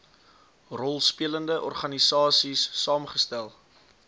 rolspelende organisaies saamgestel